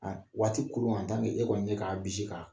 A waati koron, a daminɛ e kɔni be k'a bisi k'a